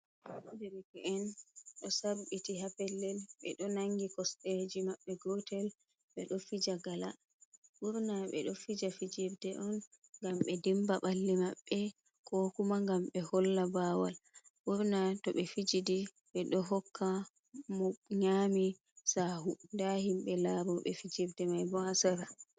Derke'en do sa'b'biti ha pellel; 'be d'o nangi kosd'eji ma'b'be gotel gotel. 'Be d'o fija gala; ɓurna fu, 'be d'o fija fijirde on gam 'be dimba balli maɓɓe ko kuma gam 'be holla bawal gam burna morning nyami ha fijirde mai. 'Be d'o hokka mo nyami sahu da himbe larobe fijirde mai bo ha sera.